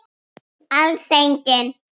Alls engin.